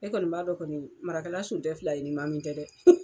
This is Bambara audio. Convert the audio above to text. E kɔni b'a dɔn kɔni Marakala son tɛ fila ye ni Mamin tɛ dɛ.